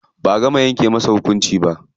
Ba'a gama yanke masa hukunci ba.